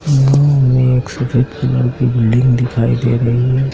यहां हमें एक सफेद कलर की बिल्डिंग दिखाई दे रही है।